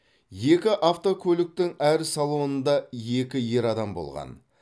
екі автокөліктің әр салонында екі ер адам болған